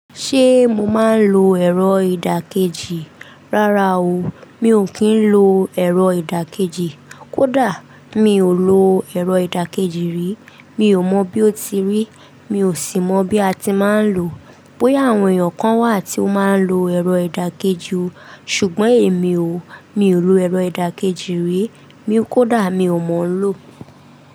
Ṣé mo máa ń lo ẹ̀rọ ìdàkejì? Rárá o, mi ò kí ń lo ẹ̀rọ ìdàkejì. Kódà mi ò lo ẹ̀rọ ìdàkejì rí. Mi ò mọ bí ó ti rí, mi ò sì mọ bí a ti máa ń lò ó. Bóyá àwọn èèyàn kan wà tí ó máa ń lo ẹ̀rọ ìdàkejì o, ṣùgbọ́n èmi o. Mi ò lo ẹ̀rọ ìdàkejì rí. Kódà mi ò mọ̀ ń lo.